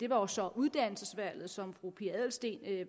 var jo så uddannelsesvalget som fru pia adelsteen